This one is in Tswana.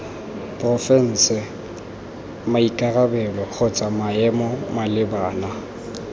porofense maikarabelo kgotsa maemo malebana